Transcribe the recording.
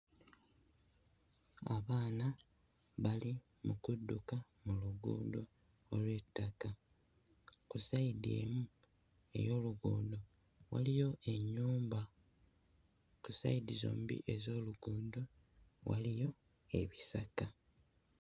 Abaana bali mu kudduka mu luguudo olw'ettaka ku ssayidi emu ey'oluguudo waliyo ennyumba ku ssayidi zombi ez'oluguudo waliyo ebisaka.